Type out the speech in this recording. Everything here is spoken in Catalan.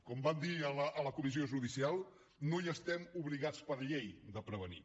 com van dir a la comissió judicial no hi estem obligats per llei de prevenir